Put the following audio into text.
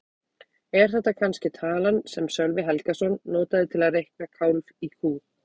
Er þetta kannske talan sem Sölvi Helgason notaði til að reikna kálf í kú?